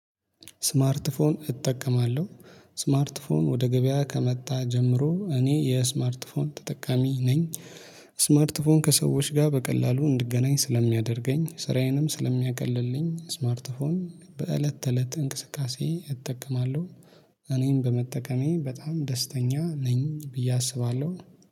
ስማርት ፎን እጠቀማለሁ። ስማርት ፎን ወደ ገበያ ከመጣ ጀምሮ እኔ የስማርት ፎን ተጠቃሚ ነኝ። ስማርት ፎን ከሰዎች ጋር በቀላሉ እንድገናኝ ስለሚያደርገኝ ስራዬንም ስለሚያቀልልኝ ስማርትፎን በእለት ተእለት እንቅስቃሴ እጠቀማለሁ። እኔም በመጠቀሜ በጣም ደስተኛ ነኝ ብዬ አስባለሁ